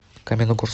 каменногорск